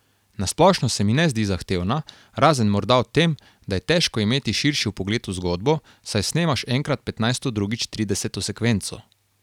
Na splošno se mi ne zdi zahtevna, razen morda v tem, da je težko imeti širši vpogled v zgodbo, saj snemaš enkrat petnajsto drugič trideseto sekvenco.